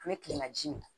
An bɛ kilelaji min